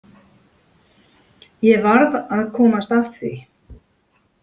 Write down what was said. Ég varð að komast að því.